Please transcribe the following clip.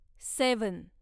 seven